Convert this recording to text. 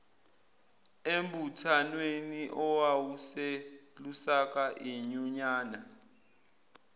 embuthwanweni owawuselusaka inyunyana